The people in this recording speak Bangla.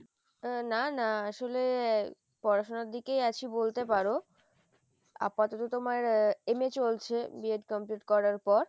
"না না আসলে পড়াশোনার দিকেই আছি বলতে পারো আপাতত তোমার আহ MA